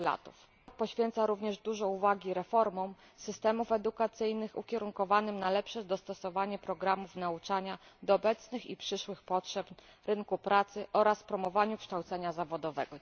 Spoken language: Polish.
Sprawozdanie poświęca również dużo uwagi reformom systemów edukacyjnych, ukierunkowanym na lepsze dostosowanie programów nauczania do obecnych i przyszłych potrzeb rynku pracy, oraz promowaniu kształcenia zawodowego.